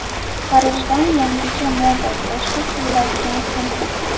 Parijdan yangicha moda: boshga kiyiladigan sumka .